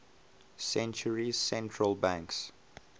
centuries central banks